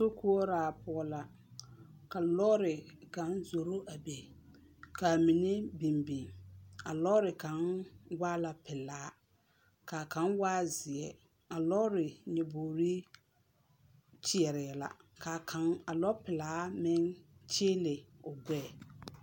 sokoɔraa poɔ la, ka lɔɔre kaŋ zoro a be. Ka a mine biŋ biŋ. A lɔɔre kaŋ waa la pelaa, ka kaŋ waa zeɛ. A lɔɔre nyebogiri kyeɛrɛɛ la. Ka a kŋ, a lɔpelaa meŋ kyeele o gbɛɛ.